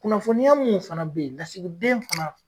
Kunnafoniya mun fana bɛ yen lasigiden fana.